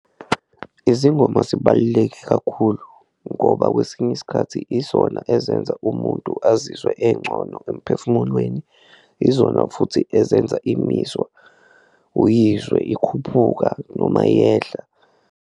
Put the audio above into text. Izingoma zibaluleke kakhulu ngoba kwesinye isikhathi izona ezenza umuntu azizwe encono emphefumulweni, izona futhi ezenza imizwa uyizwe ikhuphuka noma iyehla.